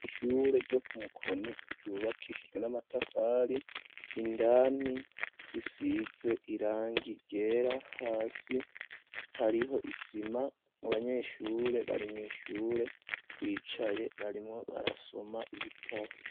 Ishure ryo ku mukoni, ryubakishijwe n'amatafari, indani bisize irangi ryera ,hasi hariho isima, Abanyeshure barimw'ishure bicaye barimwo barasoma ibitabo.